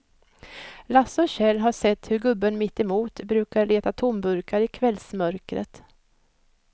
Lasse och Kjell har sett hur gubben mittemot brukar leta tomburkar i kvällsmörkret.